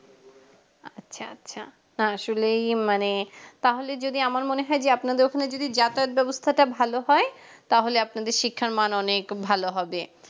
আচ্ছা আচ্ছা হ্যা আসলেই মানে তাহলে যদি আমার মনে হয় যে আপনাদের ওখানে যদি যাতায়াত ব্যবস্থাটা ভালো হয় তাহলে আপনাদের শিক্ষার মান অনেক ভালো হবে